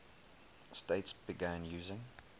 states began using